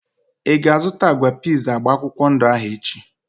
Ịga azụta agwa piiz agba akwụkwọ ndụ ahu echi?